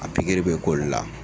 A pikiri bɛ k'olu la.